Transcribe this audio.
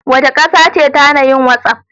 Wace ƙasa ce ta hana yin whatsapp?